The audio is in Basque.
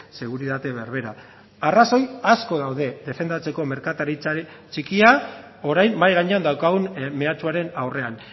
seguritate berbera arrazoi asko daude defendatzeko merkataritzari txikia orain mahai gainean daukagun meatsuaren aurrean